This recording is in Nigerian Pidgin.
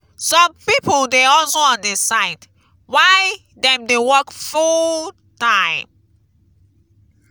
some pipo dey hustle on di side while dem dey work full-time.